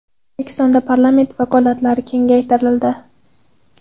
O‘zbekistonda parlament vakolatlari kengaytirildi .